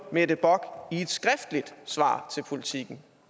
mette bock i et skriftligt svar til politiken